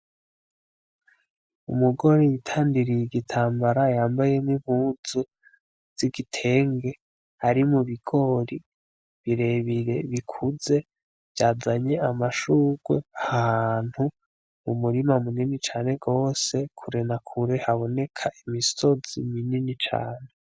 Umugore yitandiriye igitambara yambaye nimpuzu zigitenge ari mubigori birebire bikuze vyazanye amashurwe, ahantu umurima munini cane gose kure na kure haboneka imisozi minini cane.